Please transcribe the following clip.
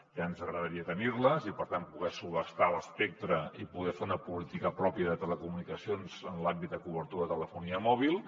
ja ens agradaria tenir les i per tant poder subhastar l’espectre i poder fer una política pròpia de telecomunicacions en l’àmbit de cobertura de telefonia mòbil